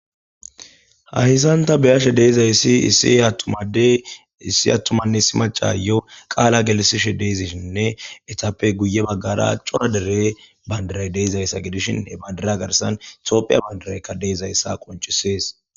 Hayssan ta be'ashe deizayssi issi attuma addey issi atumanne issi maccayo qaalla gellsishe dizaysinne eetappe guye baggara cora deere bandiray de'ixayssa gidishin he banfira garssan tophphiya bandirayka dizayssa qonccises